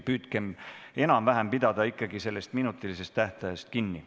Püüdkem enam-vähem pidada ikkagi sellest minutilisest tähtajast kinni.